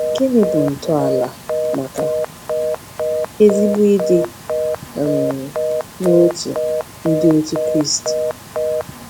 Gịnị bụ ntọala maka ezigbo ịdị um n’otu Ndị Otù Kristi?